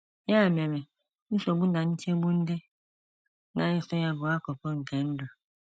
Ya mere, nsogbu na nchegbu ndị na - eso ya bụ akụkụ nke ndụ.